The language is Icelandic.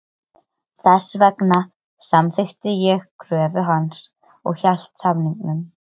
Þess vegna samþykkti ég kröfu hans og hélt samningnum.